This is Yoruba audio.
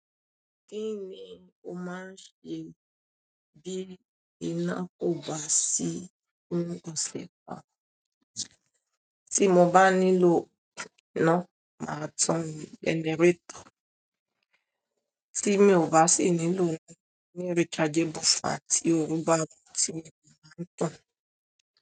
Kí ni o máa ń ṣe bí iná kò bá sí fún ọ̀sẹ̀ kan? Tí mo bá nílò iná, màá tan generator. Tí mi ò bá sì nílò iná, mo ní rechargeable fan tì òrù bá ti mu, màá tan.